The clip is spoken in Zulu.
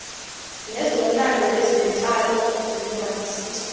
nezomlando ezenhlalo nezamasiko